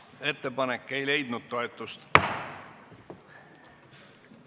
Ettepanek ei leidnud toetust.